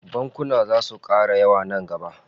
Bankuna zasu kara yawa nan gaba